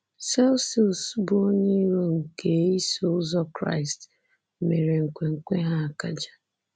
Celsus, bụ́ onye iro nke Iso Ụzọ Kraịst, mere nkwenkwe ha akaje.